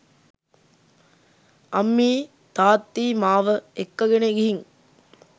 අම්මියි තාත්තියි මාව එක්කගෙන ගිහින්